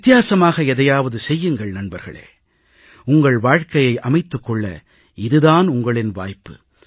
வித்தியாசமாக எதையாவது செய்யுங்கள் நண்பர்களே உங்கள் வாழ்கையை அமைத்துக் கொள்ள இது தான் உங்களின் வாய்ப்பு